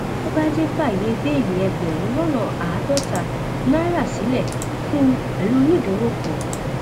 kubainje fàáyé bẹẹlí ẹgbẹrún lọnà àádọta náírà sílẹ fún un pẹlú onídùúró kan